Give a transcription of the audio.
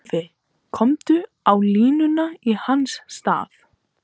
Guffi kominn á línuna í hans stað!